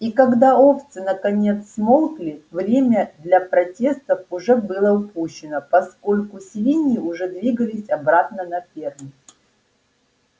и когда овцы наконец смолкли время для протестов уже было упущено поскольку свиньи уже двигались обратно на ферму